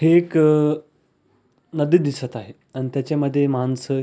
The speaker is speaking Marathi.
हे एक नदी दिसत आहे आणि त्याच्यामध्ये माणसं--